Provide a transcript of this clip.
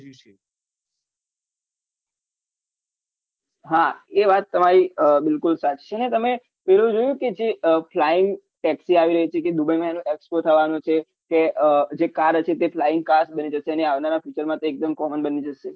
હા એ વાત તમારી બિલકુલ સાચી ને તમે પેલું જોયુ કે જે flying taxi આવી રહી છે કે dubai એનો expo થવાનો છે તે જે car હોય છે તે flying car બની જશે અને આવનારા future તે એકદમ common બની જશે